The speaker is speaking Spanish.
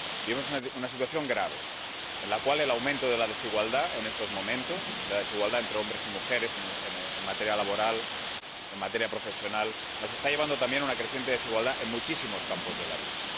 Vivimos una situación grave, en la cual el aumento de la desigualdad —la desigualdad entre hombres y mujeres, en materia laboral y en materia profesional— nos está llevando también a una creciente desigualdad en muchísimos campos de la vida.